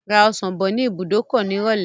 Ra ọsàn bọ̀ ní ibùdókọ̀ nírọ̀lẹ́.